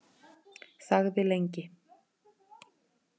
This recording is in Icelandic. Þagði lengi.